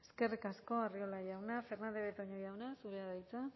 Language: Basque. eskerrik asko arriola jauna fernandez de betoño jauna zurea da hitza